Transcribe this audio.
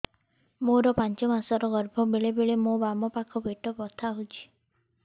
ମୋର ପାଞ୍ଚ ମାସ ର ଗର୍ଭ ବେଳେ ବେଳେ ମୋ ବାମ ପାଖ ପେଟ ବଥା ହଉଛି